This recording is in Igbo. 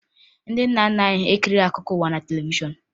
Ndị nna nna anyị ekirighi akụkọ ụwa na televishọn